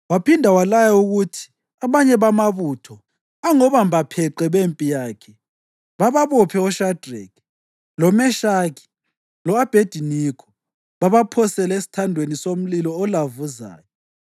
waphinda walaya ukuthi abanye bamabutho angobambapheqe bempi yakhe bababophe oShadreki, loMeshaki lo-Abhediniko babaphosele esithandweni somlilo olavuzayo.